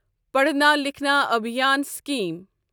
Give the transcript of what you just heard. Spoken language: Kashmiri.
پڑھنا لکھنا ابھیان سِکیٖم